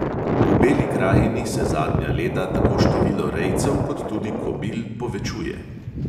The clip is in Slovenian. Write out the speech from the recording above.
V beli krajini se zadnja leta tako število rejcev kot tudi kobil povečuje.